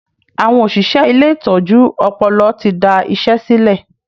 Àwọn òṣìṣẹ́ ilé ìtọ́jú ọpọlọ ti da isẹ silẹ